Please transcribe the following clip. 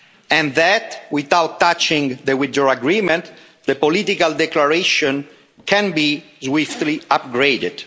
and that, without touching the Withdrawal Agreement, the political declaration can be swiftly upgraded.